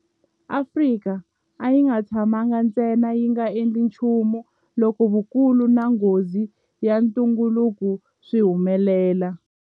Afrika a yi nga tshamangi ntsena yi nga endli nchumu loko vukulu na nghozi ya ntungukulu swi humelela.